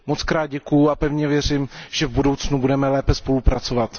Mockrát děkuju a pevně věřím, že v budoucnu budeme lépe spolupracovat.